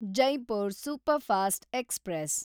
Jaipur superfast express